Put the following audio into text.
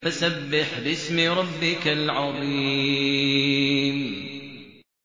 فَسَبِّحْ بِاسْمِ رَبِّكَ الْعَظِيمِ